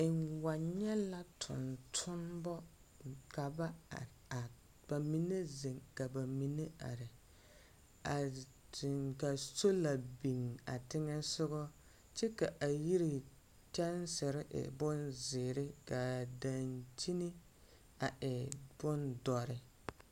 N wa nyԑ la tontonema ka ba are are ka ba mine zeŋ ka ba mine are. A zeŋ ka sola biŋ a teŋԑ sogͻŋ kyԑ ka a yiri kyԑnsere e bonzeere kaa daŋkyini a e bondͻre.